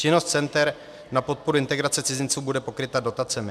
Činnost center na podporu integrace cizinců bude pokryta dotacemi.